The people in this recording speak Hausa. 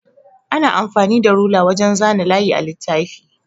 Ana amfani da rula wajan zana layi a littafi.